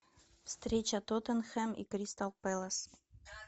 встреча тоттенхэм и кристал пэлас